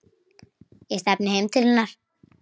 Ég stefni heim til hennar.